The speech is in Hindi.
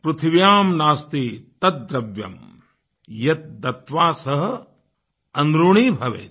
पृथिव्यां नास्ति तद्द्रव्यं यद्दत्त्वा ह्यनृणी भवेत्